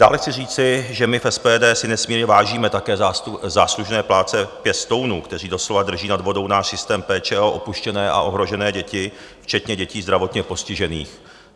Dále chci říci, že my v SPD si nesmírně vážíme také záslužné práce pěstounů, kteří doslova drží nad vodou náš systém péče o opuštěné a ohrožené děti, včetně dětí zdravotně postižených.